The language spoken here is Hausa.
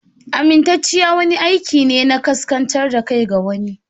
Amintacciya wani aiki ne na kaskantar da kai ga wani.